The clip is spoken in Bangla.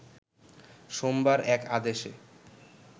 সোমবার এক আদেশে